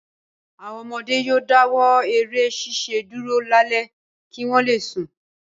Àwọn ọmọdé yóò dáwọ́ eré ṣiṣẹ́ dúró lálẹ́ kí wọ́n le sùn.